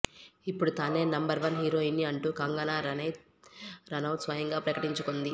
ఇప్పుడు తానే నంబర్వన్ హీరోయిన్ని అంటూ కంగన రనౌత్ స్వయంగా ప్రకటించుకుంది